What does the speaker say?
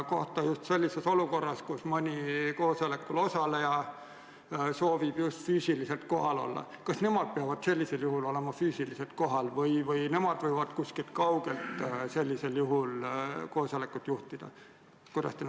Kas tema peab olukorras, kus mõni koosolekul osaleja soovib füüsiliselt kohal olla, ka füüsiliselt kohal olema või võib ka sellisel juhul kuskilt kaugelt koosolekut juhtida?